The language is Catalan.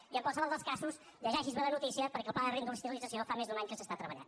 i en qualsevol dels casos llegeixi’s bé la notícia perquè el pla de reindustrialització fa més d’un any que s’està treballant